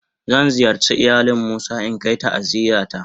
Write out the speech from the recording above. Zan ziyarce ilayalin musa in Kar ta'aziyya ta.